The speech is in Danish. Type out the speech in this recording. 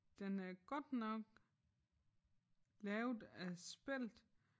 Den er godt nok lavet af spelt